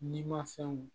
Ni ma fɛnw